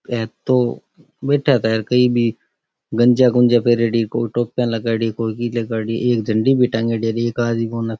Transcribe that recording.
ये तो बेटा खेर कोई भी गंजा गुनजा पेहरोडी कोई टोपिया लगायेडी कोई एक झंडी भी तांगेड़ी --